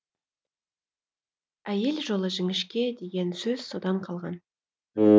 әйел жолы жіңішке деген сөз содан қалған